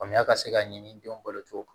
Faamuya ka se ka ɲini denw bolo cogo